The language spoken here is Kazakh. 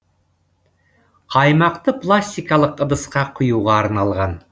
қаймақты пластикалық ыдысқа құюға арналған